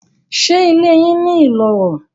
Ṣé ilé yín ní iloro?